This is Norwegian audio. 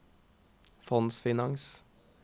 fondsfinans